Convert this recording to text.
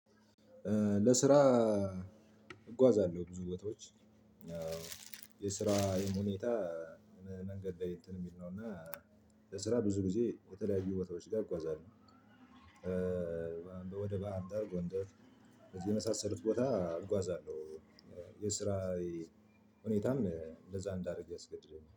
ለስራ እጓዛለሁ ብዙ ቦታዎች የስራዬ ሁኔታ መንገድ እንትን ሚል ነው እና ለስራ ብዙ ጊዜ የተለያዩ ቦታዎች ጋ እጓዛለው። ወደ ባህርዳር ጎንደር የመሳሰሉት ቦታ አጓዛለሁ። የስራዬ ሁኔታም እንደዛ እንዳረግ ያስገድደኛል